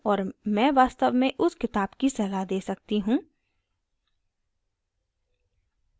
और मैं वास्तव में उस किताब की सलाह दे सकती हूँ